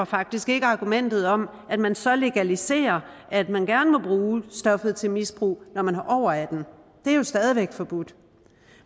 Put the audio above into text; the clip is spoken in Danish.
faktisk ikke argumentet om at man så legaliserer at man gerne må bruge stoffet til misbrug når man er over attende det er jo stadig væk forbudt